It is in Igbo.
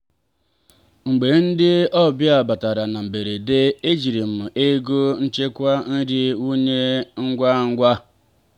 mgbe ndị ọbịa batara na mberede ejiri m ego nchekwa nri wụnye ngwa ngwa.